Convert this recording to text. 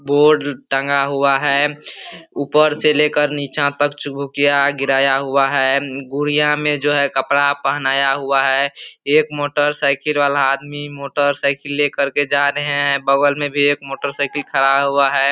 Board टंगा हुआ है । ऊपर से लेकर नीचे तक चुकभुकिया गिराया हुआ है । गुड़िया में जो है कपड़ा पहनाया हुआ है । एक मोटरसाइकिल वाला आदमी मोटरसाइकिल लेकर के जा रहे हैं । बगल में भी एक मोटरसाइकिल खड़ा हुआ है ।